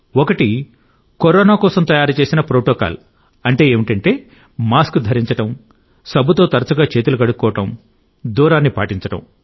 ఒకటి కరోనా కోసం తయారుచేసిన ప్రోటోకాల్ మాస్క్ ధరించడం సబ్బుతో తరచుగా చేతులు కడుక్కోవడం దూరాన్ని పాటించడం